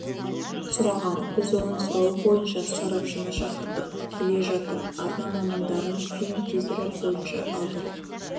сұраған біз оның сұрауы бойынша сарапшыны шақырттық келе жатыр арна мамандарын фильм тизері бойынша алдыртып